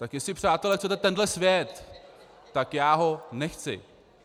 Tak jestli, přátelé, chcete tenhle svět, tak já ho nechci.